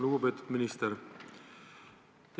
Lugupeetud minister!